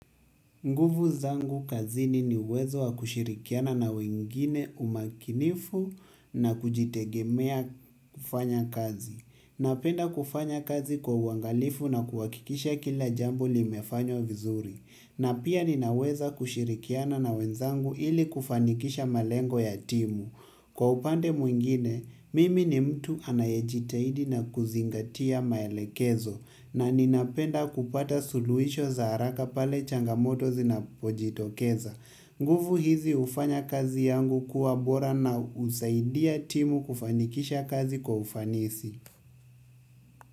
Nguvu zangu kazini ni uwezo wa kushirikiana na wengine umakinifu na kujitegemea kufanya kazi. Napenda kufanya kazi kwa uangalifu na kuhakikisha kila jambo limefanywa vizuri. Na pia ninaweza kushirikiana na wenzangu ili kufanikisha malengo ya timu. Kwa upande mwingine, mimi ni mtu anayejitahidi na kuzingatia maelekezo na ninapenda kupata suluisho za haraka pale changamoto zinapojitokeza. Nguvu hizi hufanya kazi yangu kuwa bora na husaidia timu kufanikisha kazi kwa ufanisi.